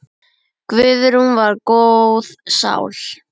Guðrún var góð sál.